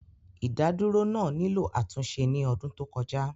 Ìdádúró náà nílò àtúnṣe ní ọdún tó kọjá